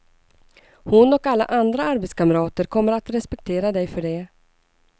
Hon och alla andra arbetskamrater kommer att respektera dig för det.